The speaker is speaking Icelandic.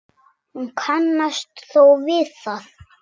Hún kannast þó við það.